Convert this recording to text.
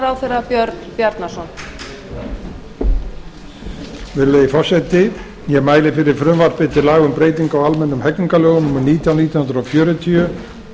að björn frá byrjun virðulegi forseti ég mæli fyrir frumvarpi til laga um breyting á almennum hegningarlögum númer nítján nítján hundruð fjörutíu